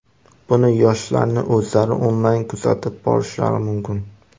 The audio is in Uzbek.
Buni yoshlarning o‘zlari onlayn kuzatib borishlari mumkin.